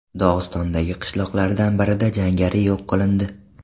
Dog‘istondagi qishloqlardan birida jangari yo‘q qilindi.